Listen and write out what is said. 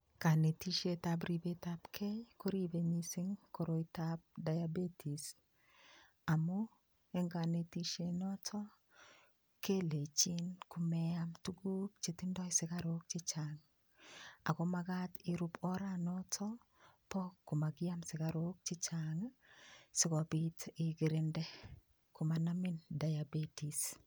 Kanetishetab ribetab kei koribei mising' koroitoab diabetes amu eng' kanetishenoto kelechin komeam tukuk chetindoi sikarok chechang' ako makat irup oranoto bo komakim sikarok chechang' sikobit ikirinde komanamin diabetes